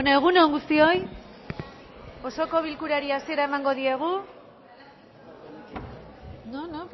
egun on guztioi osoko bilkurari hasiera emango diogu no no